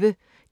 DR P1